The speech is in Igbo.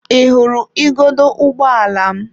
Ị hụrụ igodo ụgbọ ala m?